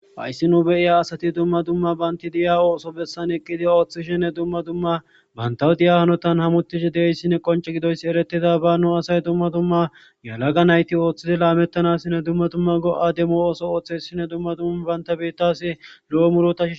Hayssi nu beyiya asati dumma dumma banti diya ooso bessan eqqidi ooththi shinne dumma dumma bantawu diya hanotan hamutishe deeyssinne qonce gidoyss eretida ba nu asay dumma dumma yalaga nayti ooththidi laamettanassinne dumma dumma go'a demo ooso ooththe shinne dumma dumma baynta bettasi lo'o murotah